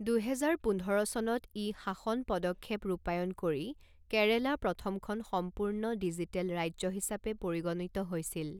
দুহেজাৰ পোন্ধৰ চনত ই শাসন পদক্ষেপ ৰূপায়ণ কৰি কেৰেলা প্ৰথমখন সম্পূৰ্ণ ডিজিটেল ৰাজ্য হিচাপে পৰিগণিত হৈছিল।